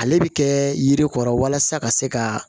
Ale bɛ kɛ yiri kɔrɔ walasa ka se ka